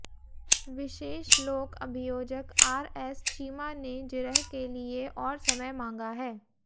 विशेष लोक अभियोजक R S Cheema ने जिरह के लिए और समय मांगा है